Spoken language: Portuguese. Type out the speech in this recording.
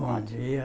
Bom dia.